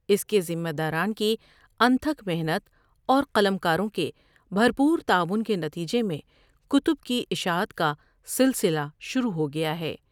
اس کے ذمہ داران کی انتھک محنت اورقلم کاروں کے بر پور تعاون کے نتیجے میں کتب کی اشاعت کا سلسلہ شروع ہوگیا ہے۔